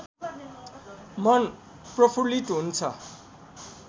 मन प्रफुल्लित हुन्छ